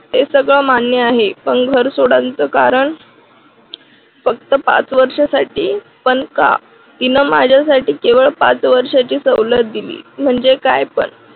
हे सगळे मान्य आहे. पण घर सोडायचं कारण फक्त पाच वर्षासाठी पण का? माझ्यासाठी केवळ पाच वर्षांची सवलत दिली म्हणजे काय पण